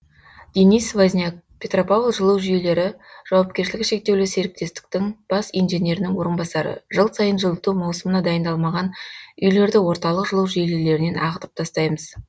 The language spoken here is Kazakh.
денис возняк петропавл жылу жүйелері жауапкершілігі шектеулі серіктестіктің бас инженерінің орынбасары жыл сайын жылыту маусымына дайындалмаған үйлерді орталық жылу желілерінен ағытып тастаймыз